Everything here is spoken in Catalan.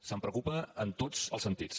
se’n preocupa en tots els sentits